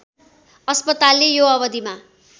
अस्पतालले यो अवधिमा